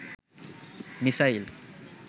missile